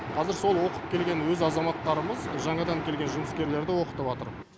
қазір сол оқып келген өз азаматтарымыз жаңадан келген жұмыскерлерді оқытыватыр